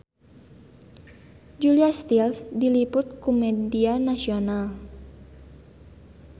Julia Stiles diliput ku media nasional